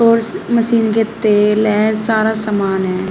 और इस मशीन के तेल है सारा सामान है।